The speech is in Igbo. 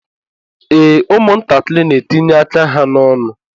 Ee, ụmụ ntakịrị n'etinye aka ha n'ọnụ.